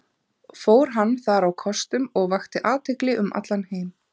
Fór hann þar á kostum og vakti athygli um allan heim.